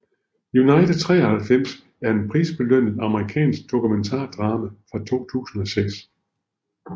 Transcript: United 93 er en prisbelønnet amerikansk dokumentardrama fra 2006